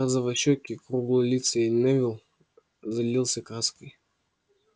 розовощёкий круглолицый невилл залился краской